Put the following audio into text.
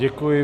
Děkuji.